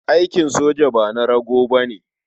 Aikin soja ba na rago ba ne.